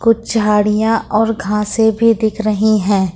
कुछ झाड़ियां और घासे भी दिख रही है।